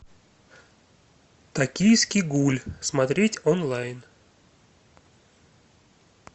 токийский гуль смотреть онлайн